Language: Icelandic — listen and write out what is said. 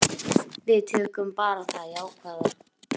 Við tökum bara það jákvæða.